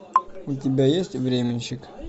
у тебя есть временщик